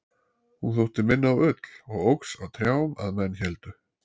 hún þótti minna á ull og óx á trjám að menn héldu